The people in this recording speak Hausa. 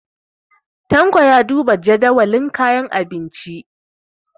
Tanko ya duba jadawalin kayan abinci.